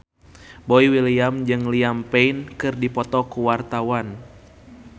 Boy William jeung Liam Payne keur dipoto ku wartawan